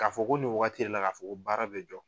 K'a fɔ ko nin wagati le la k'a fɔ ko baara bɛ jɔ.